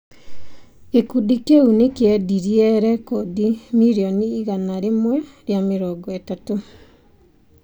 Gĩkundi kĩu nĩ kĩendirie rekondi mirioni igana rĩmwe rĩa mĩrongo ĩtatũ.